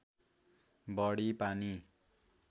बढी पानी